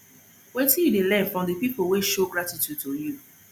wetin you dey learn from di people wey show gratitude to you